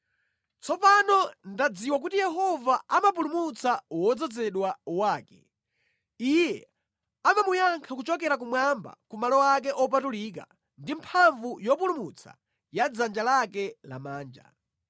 Tsopano ndadziwa kuti Yehova amapulumutsa wodzozedwa wake; Iye amamuyankha kuchokera kumwamba ku malo ake opatulika ndi mphamvu yopulumutsa ya dzanja lake lamanja.